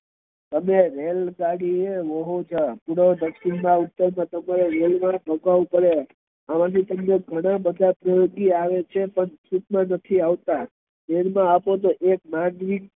તમે રેલગાડી એ પૂર્વ દક્ષિણ ઉતર માં રોકાવું પડે અમથી ઘણા આવે છે પણ